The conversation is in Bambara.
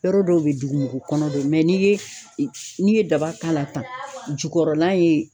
Yɔrɔ dɔw be ye dugumugukɔnɔ do mɛ n'i ye e n'i ye daba k'a la tan jukɔrɔla in